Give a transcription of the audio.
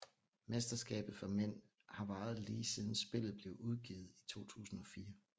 Mesterskabet for mænd har varet lige siden spillet blev udgivet i 2004